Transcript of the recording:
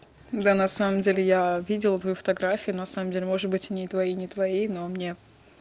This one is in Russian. да на самом деле я видел твою фотографию на самом деле может быть и ни твоей ни твоей но мне